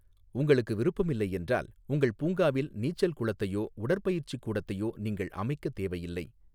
உங்களுக்கு விருப்பமில்லை என்றால் உங்கள் பூங்காவில் நீச்சல் குளத்தையோ உடற்பயிற்சிக் கூடத்தையோ நீங்கள் அமைக்கத் தேவையில்லை.